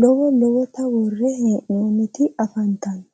lowo lowotta worre hee'noonnitti affanttanno